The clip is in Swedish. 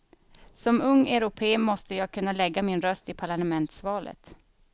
Som ung europé måste jag kunna lägga min röst i parlamentsvalen.